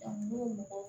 Dɔnku